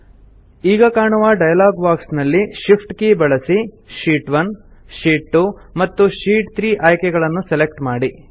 ಈಗ ಕಾಣುವ dialog box ನಲ್ಲಿ ಶಿಫ್ಟ್ ಕೀ ಬಳಸಿ ಶೀಟ್ 1 ಶೀಟ್ 2 ಮತ್ತು ಶೀಟ್ 3 ಆಯ್ಕೆಗಳನ್ನು ಸೆಲೆಕ್ಟ್ ಮಾಡಿ